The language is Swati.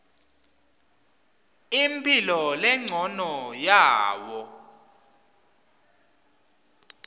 imphilo lencono yawo